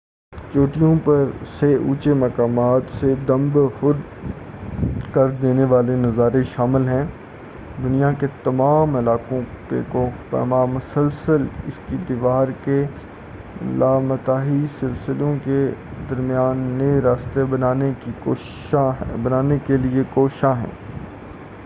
چوٹیوں پر سے اونچے مقامات سے دم بخود کر دینے والے نظارے شامل ہیں دنیا کے تمام علاقوں کے کوہ پیما مسلسل اس کی دیواروں کے لامتناہی سلسلوں کے درمیان نئے راستے بنانے کے لیے کوشاں ہیں